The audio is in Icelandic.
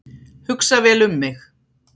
Hugsa vel um mig